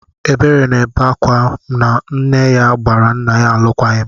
Ebere na-ebe ákwá na nne ya gbara nna ya alụkwaghịm.